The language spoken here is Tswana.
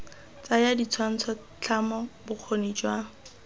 tsaya ditshwantsho tlhamo bokgoni jwa